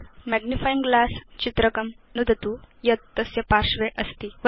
magnifying glass चित्रकं नुदतु यत् तस्य पार्श्वे अस्ति